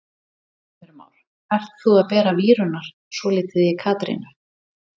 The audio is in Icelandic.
Heimir Már: Ert þú að bera víurnar svolítið í Katrínu?